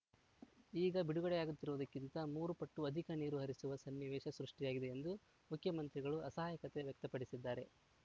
ಈಗ ಬಿಡುಗಡೆಯಾಗುತ್ತಿರುವುದಕ್ಕಿಂತ ಮೂರು ಪಟ್ಟು ಅಧಿಕ ನೀರು ಹರಿಸುವ ಸನ್ನಿವೇಶ ಸೃಷ್ಟಿಯಾಗಿದೆ ಎಂದು ಮುಖ್ಯಮಂತ್ರಿಗಳು ಅಸಹಾಯಕತೆ ವ್ಯಕ್ತಪಡಿಸಿದ್ದಾರೆ